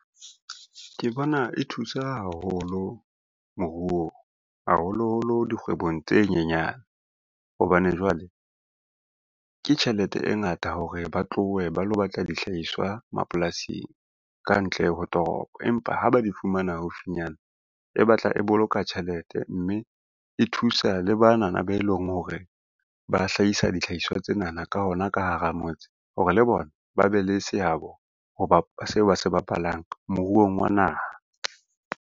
Ke bona e thusa haholo moruong, haholoholo dikgwebong tse nyenyane hobane jwale, ke tjhelete e ngata hore ba tlohe ba lo batla dihlahiswa mapolasing kantle ho toropo. Empa ha ba di fumana haufinyana e batla e boloka tjhelete, mme e thusa le banana be leng hore ba hlahisa dihlaiswa tsenana ka hona ka hara motse hore le bona ba be le seabo seo ba se bapalang moruong wa naha.